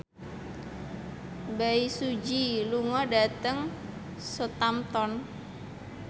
Bae Su Ji lunga dhateng Southampton